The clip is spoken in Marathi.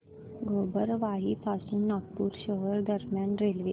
गोबरवाही पासून नागपूर शहर दरम्यान रेल्वे